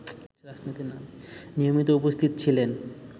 নিয়মিত উপস্থিত ছিলেন